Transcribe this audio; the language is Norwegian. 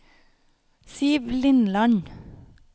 Siv Lindland